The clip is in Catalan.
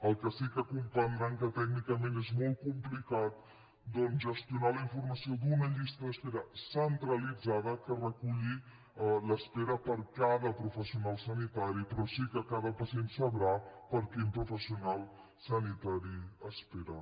el que sí que deuen comprendre que tècnicament és molt complicat doncs és gestionar la informació d’una llista d’espera centralitzada que reculli l’espera per cada professional sanitari però sí que cada pacient sabrà per quin professional sanitari espera